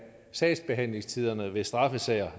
sagsbehandlingstiderne i straffesager